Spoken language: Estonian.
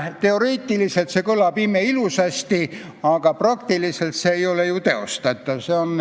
Teoreetiliselt kõlab see imeilusasti, aga praktiliselt ei ole see ju teostatav.